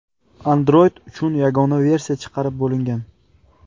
Android uchun yagona versiya chiqarib bo‘lingan.